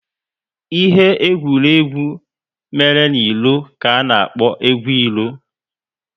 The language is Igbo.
Ihe egwuregwu mere n'ilo ka a na-akpo egwu ilo